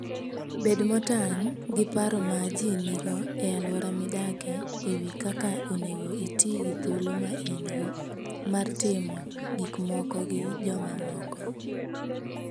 Bed motang' gi paro ma ji nigo e alwora midakie e wi kaka onego iti gi thuolo ma in-go mar timo gik moko gi jomamoko.